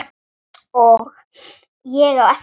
Og ég á eftir.